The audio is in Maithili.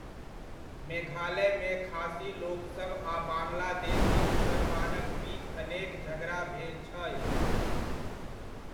मेघालयमे खासी लोकसब आ बांग्लादेशी मुसलमानक बीच अनेक झगड़ा भेल छै।